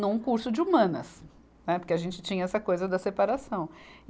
num curso de humanas, né, porque a gente tinha essa coisa da separação.